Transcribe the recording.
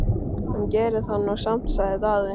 Hann gerir það nú samt, sagði Daði.